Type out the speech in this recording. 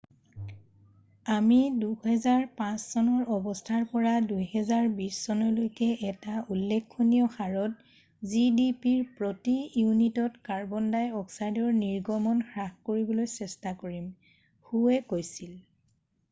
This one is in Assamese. """আমি ২০০৫চনৰ অৱস্থাৰ পৰা ২০২০চনলৈকে এটা উল্লেখনীয় হাৰত gdpৰ প্ৰতি ইউনিটত কাৰ্বন ডাইঅক্সাইডৰ নিৰ্গমন হ্ৰাস কৰিবলৈ চেষ্টা কৰিম," হোৱে কৈছিল।""